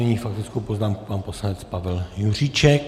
Nyní faktickou poznámku pan poslanec Pavel Juříček.